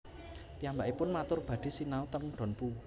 Piyambakipun matur badhe sinau ten Dompu